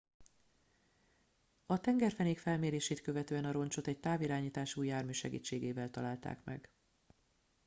a tengerfenék felmérését követően a roncsot egy távirányítású jármű segítségével találták meg